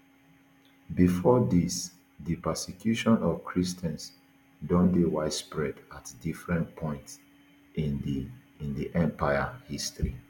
bifor dis di persecution of christians don dey widespread at different points in di di empire history